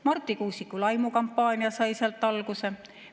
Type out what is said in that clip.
Marti Kuusiku laimukampaania sai sealt alguse.